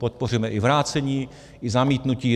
Podpoříme i vrácení, i zamítnutí.